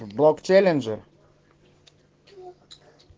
блок челенджер